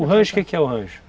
O rancho, o que que é o rancho?